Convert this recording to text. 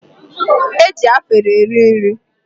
E ji afere eri nri.